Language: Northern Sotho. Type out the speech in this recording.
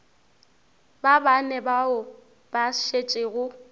ba bane bao ba šetšego